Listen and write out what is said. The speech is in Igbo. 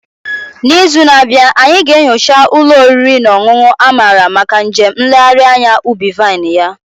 N'izu na-abịa, anyị ga-enyocha ụlọ oriri na ọṅụṅụ a mara maka njem nlegharị anya ubi vine ya.